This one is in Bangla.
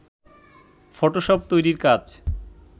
ফটোশপ তৈরির কাজ